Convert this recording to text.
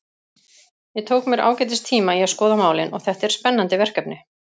Ég tók mér ágætis tíma í að skoða málin og þetta er spennandi verkefni.